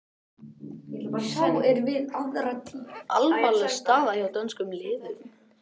Alvarleg staða hjá dönskum liðum